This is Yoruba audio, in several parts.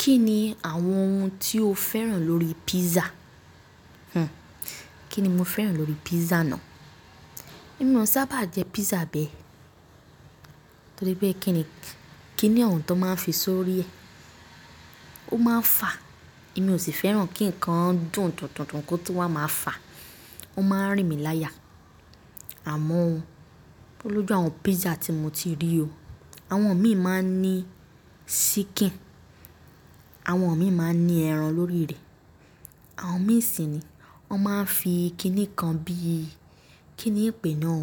Kí ni àwọn ohun tí o féràn lórí pizza? Hhm, kí ni mo féràn lórí pizza náà? Èmi ò sábà n jẹ pizza bẹ́ẹ̀ torí pé kí ni, kí ni ohun tó máa ń fi sórí ẹ? Ó máa ń fà, èmi ò sì féràn kí nǹkan dùn dundun kó tun wa máa fà. Ó máa ń rìn mí láya. Àmọ́ ó olójú àwọn pizza tí mo ti rí o. Àwọn mí máa ń ní ṣíkìn, àwọn mi máa ń ní ẹran lórí rẹ̀, àwọn ní sì ni wọ́n máa ń fi kí nìkan bí i, kí ni pè náà?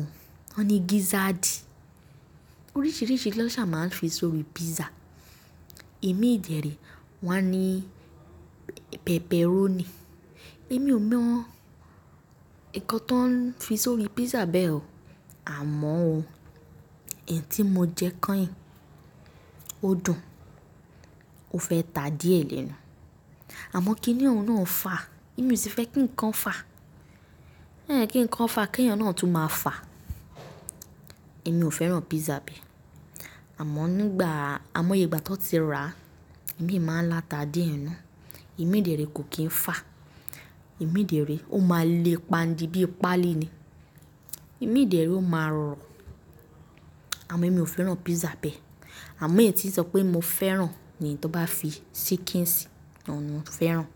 Wọ́n ni gízáàdì. Oríṣìíríṣìí na sa máa ń fi sórí pizza. Imi dẹ̀rí wọ́n á ní p-pepperoni. Èmi ò mọ̀ nǹkan tó ń fi sórí pizza bẹ́ẹ̀ o. Àmọ́ o, ẹ́yi tí mo jẹ kányìn, ó dùn, ó fẹ́ ta díẹ̀ lẹ́nu. Àmọ́ kí ni ọ̀hun náà ń fà? Èmi ò sì fẹ́ kí nǹkan fà. Kí nǹkan fà, kí eyan náà tún máa fà. Èmi ò féràn pizza bẹ́ẹ̀. Àmọ́ nígbà, àmọ́ ye ìgbà tó n ti rà, èmi máa ń lá ta díẹ̀ n nu. Imi dẹ̀re kò kí ń fà. Imi dẹ̀re ó máa le pandi bí i páálí ni. Èmi jẹ̀rí ó máa rọrùn. Àmọ́ èmi ò féràn pizza bẹ́ẹ̀. Àmọ́ èyí tí sọ pé mo féràn ni to n bá fi ṣíkìǹ sì, àwọn ni mo féràn.